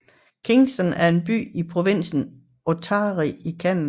Kingston er en by i provinsen Ontario i Canada